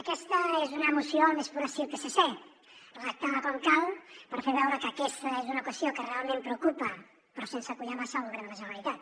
aquesta és una moció al més pur estil psc redactada com cal per fer veure que aquesta és una qüestió que realment preocupa però sense collar massa el govern de la generalitat